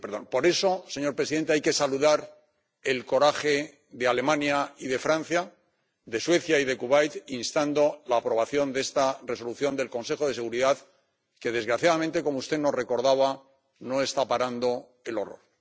Por eso, señor presidente, hay que saludar el coraje de Alemania y de Francia, de Suecia y de Kuwait, al instar la aprobación de esta Resolución del Consejo de Seguridad, que, desgraciadamente, como usted nos recordaba, no está parando el horror.